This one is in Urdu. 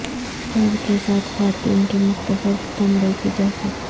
فر کے ساتھ خواتین کی مختصر چمڑے کی جیکٹ